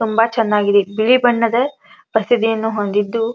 ಚೆನ್ನಾಗಿದೆ ಇವೆ ಬಣ್ಣದ ಬಸಿದಿಯನ್ನು ಹೊಂದಿದ್ದು --